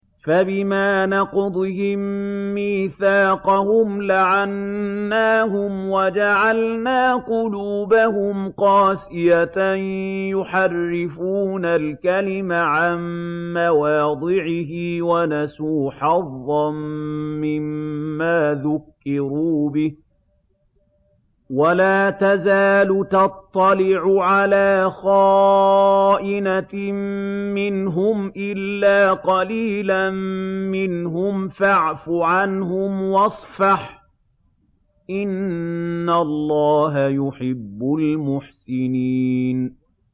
فَبِمَا نَقْضِهِم مِّيثَاقَهُمْ لَعَنَّاهُمْ وَجَعَلْنَا قُلُوبَهُمْ قَاسِيَةً ۖ يُحَرِّفُونَ الْكَلِمَ عَن مَّوَاضِعِهِ ۙ وَنَسُوا حَظًّا مِّمَّا ذُكِّرُوا بِهِ ۚ وَلَا تَزَالُ تَطَّلِعُ عَلَىٰ خَائِنَةٍ مِّنْهُمْ إِلَّا قَلِيلًا مِّنْهُمْ ۖ فَاعْفُ عَنْهُمْ وَاصْفَحْ ۚ إِنَّ اللَّهَ يُحِبُّ الْمُحْسِنِينَ